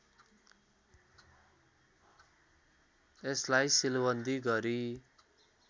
यसलाई सिलवन्दी गरी